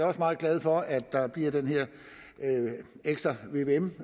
også meget glad for at der bliver den her ekstra vvm